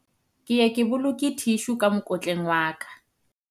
ke ye ke boloke thishu ka mokotleng wa ka